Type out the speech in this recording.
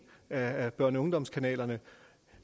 af børne og ungdomskanalerne